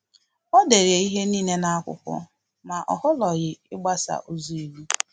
Ọ dere ihe niile n’akwụkwọ, ma o họrọghị ịgbaso ụzọ iwu